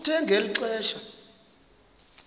kuthe ngeli xesha